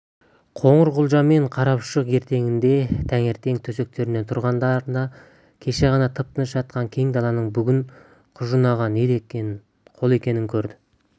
қоңырқұлжа мен қарапұшық ертеңіне таңертең төсектерінен тұрғандарында кеше ғана тып-тыныш жатқан кең даланың бүгін құжынаған қол екенін көрді